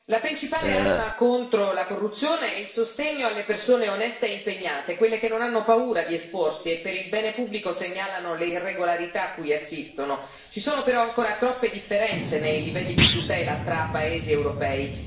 Signor Presidente, onorevoli colleghi, la principale arma contro la corruzione è il sostegno alle persone oneste e impegnate, quelle che non hanno paura di esporsi e per il bene pubblico segnalano le irregolarità a cui assistono. Ci sono però ancora troppe differenze nei livelli di tutela tra paesi europei.